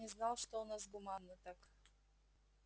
не знал что у нас гуманно так